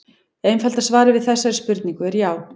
Einfalda svarið við þessari spurningu er já.